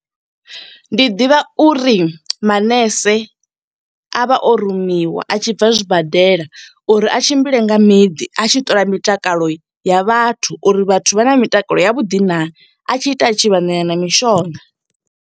Ndi ḓivha uri manese a vha o rumiwa, a tshi bva zwibadela, uri a tshimbile nga miḓi. A tshi ṱola mitakalo ya vhathu, uri vhathu vha na mitakalo ya vhuḓi naa. A tshi ita a tshi vha ṋea na mishonga.